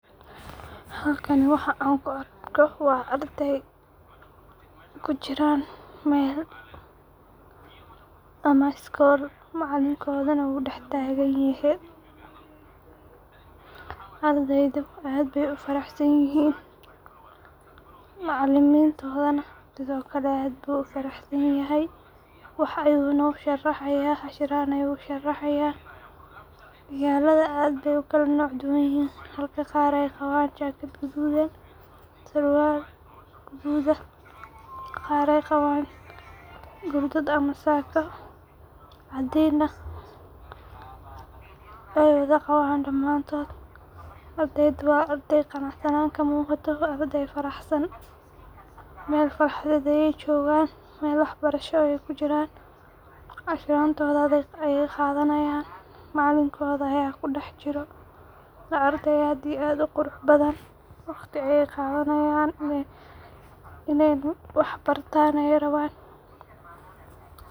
Halkan waxaa an ku arko waa ardhey kujiran meel ama iskol macalinkodhana u dax tagan yehe, ardeyda aad be u faraxsan yihin, macalinkodhana sithokale aad bu u faraxsan yahay, waxa u nosharaxaya cashiran ayu u sharxi haya, magaladha aad be oo kala noc duwanyihin halka qaar ee qawan jakaad gadhudan surwal gudhud ah gar ee qawan, gurdaad ama saaka cadin nah we wadha qawan damantodha, ardeyda waa ardey faraxsanan kamuqato, waa ardey faraxsan, meel farxadheed ayey jogan, meel wax barasho ayey ku jiran, cashirantodha ayey qadhani hayan, macalinkodha aya kudax jiro, waa ardhey aad iyo aad u qurux badan, waqti ayey qadhanayan, in ee wax bartan ayey rawan.